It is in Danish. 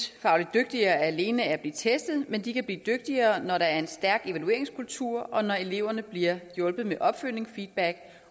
dygtigere alene af at blive testet men de kan blive dygtigere når der er en stærk evalueringskultur og når eleverne bliver hjulpet med opfølgende feedback